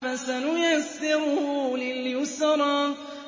فَسَنُيَسِّرُهُ لِلْيُسْرَىٰ